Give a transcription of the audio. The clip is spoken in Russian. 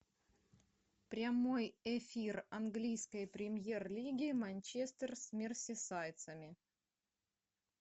прямой эфир английской премьер лиги манчестер с мерсисайдцами